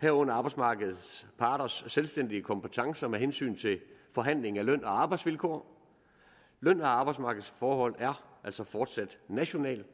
herunder arbejdsmarkedets parters selvstændige kompetencer med hensyn til forhandling af løn og arbejdsvilkår løn og arbejdsmarkedsforhold er altså fortsat national